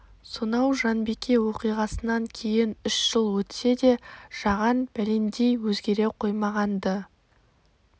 сонау жанбике оқиғасынан кейін үш жыл өтсе де жаған бәлендей өзгере қоймаған-ды